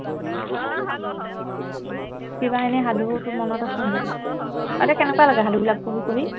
কিবা এনেয়ে সাধু তোৰ মনত আছেনে নাই কেনেকুৱা লাগে সাধুবিলাক পঢ়ি পঢ়ি